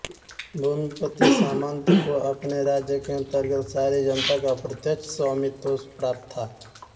भूमिपति सामंत को अपने राज्य के अंतर्गत सारी जनता का प्रत्यक्ष स्वामित्व प्राप्त था